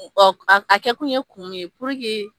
O a kɛ kun ye kun mun ye .